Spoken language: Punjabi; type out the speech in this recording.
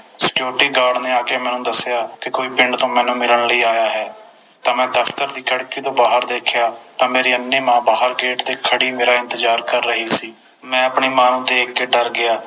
Security Guard ਨੇ ਆ ਕੇ ਮੈਨੂੰ ਦਸਿਆ ਕੇ ਪਿੰਡ ਤੋਂ ਕੋਈ ਮੈਨੂੰ ਮਿਲਣ ਲਈ ਆਇਆ ਹੈ ਤਾ ਮੈਂ ਦਫਤਰ ਦੀ ਖਿੜਕੀ ਤੋਂ ਬਾਹਰ ਦੇਖਿਆ ਤਾ ਮੇਰੀ ਅੰਨ੍ਹੀ ਮਾਂ ਗੇਟ ਤੇ ਬਾਹਰ ਖੜ੍ਹੀ ਮੇਰਾ ਇੰਤਜਾਰ ਕਰ ਰਹੀ ਸੀ ਮੈਂ ਆਪਣੀ ਮਾਂ ਨੂੰ ਦੇਖ ਕੇ ਡਰ ਗਿਆ